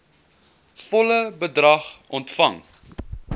volle bedrag ontvang